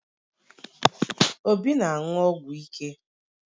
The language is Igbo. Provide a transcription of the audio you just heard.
Obi na-aṅụ ọgwụ ike